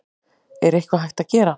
Er eitthvað hægt að gera?